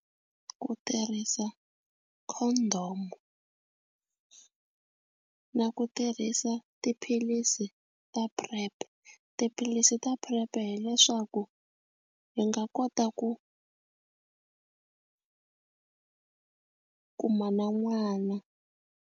Ku tirhisa condom na ku tirhisa tiphilisi ta PrEP tiphilisi ta PrEP-e hileswaku hi nga kota ku kuma na n'wana.